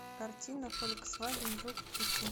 картина фольксваген жук включи